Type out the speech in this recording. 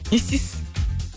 не істейсіз